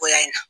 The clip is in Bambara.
O y'a ye na